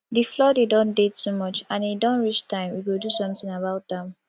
the flooding don dey too much and e don reach time we go do something about am